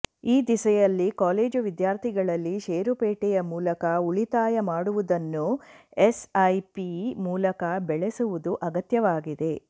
ಈ ದಿಸೆಯಲ್ಲಿ ಕಾಲೇಜು ವಿದ್ಯಾರ್ಥಿಗಳಲ್ಲಿ ಷೇರುಪೇಟೆಯ ಮೂಲಕ ಉಳಿತಾಯ ಮಾಡುವುದನ್ನು ಎಸ್ಐಪಿ ಮೂಲಕ ಬೆಳೆಸುವುದು ಅಗತ್ಯವಾಗಿದೆ